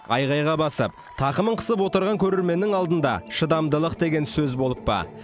айқайға басып тақымын қысып отырған көрерменнің алдында шыдамдылық деген сөз болып па